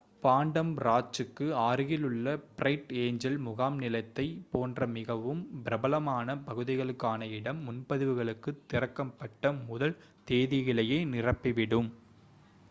Phantom ராஞ்ச்சுக்கு அருகிலுள்ள Bright Angel முகாம்நிலத்தைப் போன்ற மிகவும் பிரபலமான பகுதிகளுக்கான இடம் முன்பதிவுகளுக்குத் திறக்கப்பட்ட முதல் தேதியிலேயே நிரம்பிவிடும்